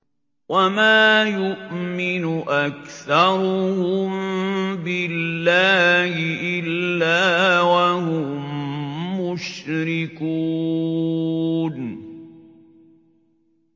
وَمَا يُؤْمِنُ أَكْثَرُهُم بِاللَّهِ إِلَّا وَهُم مُّشْرِكُونَ